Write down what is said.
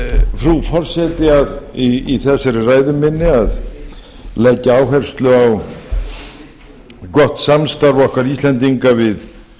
frú forseti í þessari ræðu minni að leggja áherslu á gott samstarf okkar íslendinga við